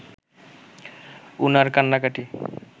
উনার কান্নাকাটি